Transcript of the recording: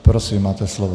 Prosím, máte slovo.